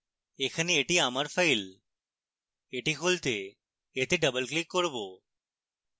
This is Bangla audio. এখানে এটি আমার file এটি খুলতে এতে double click করবো